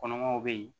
Kɔnɔmaw bɛ yen